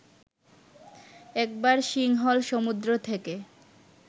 একবার সিংহল সমুদ্র থেকে